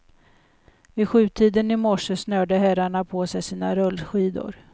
Vid sjutiden i morse snörde herrarna på sig sina rullskidor.